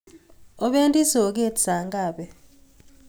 Opendi soget saa ngapi?